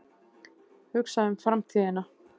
Hugsa um framtíðina.